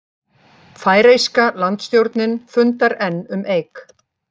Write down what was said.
Færeyska landstjórnin fundar enn um Eik